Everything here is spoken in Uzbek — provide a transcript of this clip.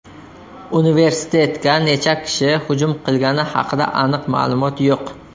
Universitetga necha kishi hujum qilgani haqida aniq ma’lumot yo‘q.